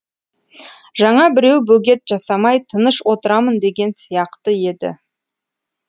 жаңа біреу бөгет жасамай тыныш отырамын деген сияқты еді